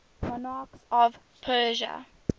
monarchs of persia